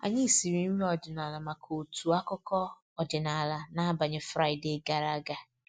Anyị siri nri ọdịnala maka otu akụkọ ọdịnala n’abalị Fraịde gara aga